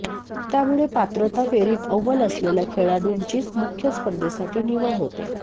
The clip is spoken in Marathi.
त्यामुळे पात्रता फेरीत अव्वल असलेल्या खेळाडूंचीच मुख्य स्पर्धेसाठी निवड होते